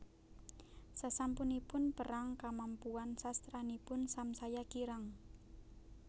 Sasampunipun perang kamampuan sastranipun samsaya kirang